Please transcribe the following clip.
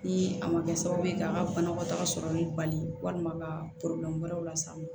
Ni a ma kɛ sababu ka banakɔtaga sɔrɔli bali walima ka wɛrɛ las'a ma